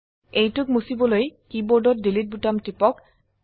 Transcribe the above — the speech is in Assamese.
এইটোক মুছিবলৈ কীবোর্ডত ডিলিট বোতাম টিপক